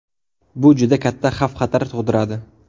Bu juda katta xavf-xatar tug‘diradi.